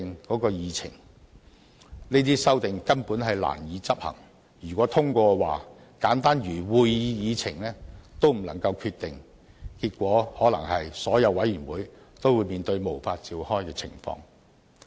這些修訂根本難以執行，如獲通過，則簡單如會議議程也不能決定，結果可能是所有委員會都會面對無法召開的情況。